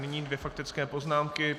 Nyní dvě faktické poznámky.